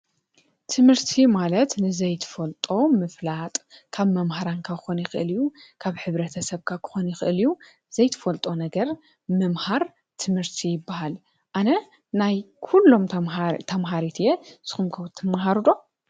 ትምህርቲ ማለት ንዘይትፈልጦ ምፍላጥ ካብ መምህራንካ ኾኒኽእልዩ ካብ ሕብሪ ተሰብካ ክኾኒ ኽእልዩ ዘይትፈልጦ ነገር ምምሃር ትምህርቲ ይበሃል ።ኣነ ናይ ኲሎም ተምሃሪት እየ ስኹምክው ትመሃሩዶ?